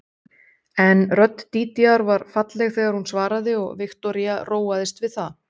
En rödd Dídíar var falleg þegar hún svaraði og Viktoría róaðist við það